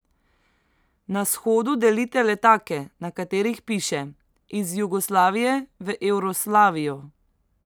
Na shodu delite letake, na katerih piše: ''Iz Jugoslavije v Evroslavijo''.